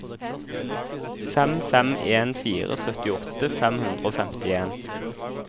fem fem en fire syttiåtte fem hundre og femtien